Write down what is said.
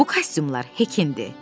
Bu kostyumlar Hekinndir.